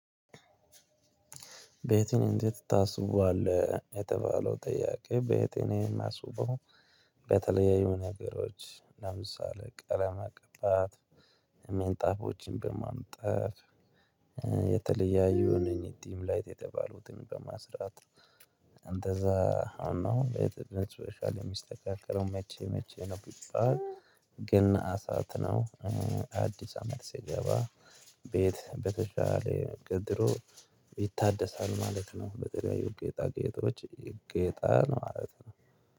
ቤቴን እንዴት ታስውበዋለህ የተባለው ጥያቄ ቤቴን የማስውበው በተለያዮ ነገሮች ለምሳሌ ቀለማ መቀባት ምንጣፎችን በማንጠፍ እ የተለያዩ እነኝ ዲም ላይት የተባሉትን በማስራት። እ አሁን ነው ቤትህ በሶሻል የሚስተካከለው መቼ መቼ ነው? ግን አሳትነው እ አዲስ አመት ሲገባ ቤት በተሻለ ከድሮ ይታደሳል ማለት ነው። በተለያዮ ጌጣ ጌጦች ይጌጣል ነው ማለት ነው።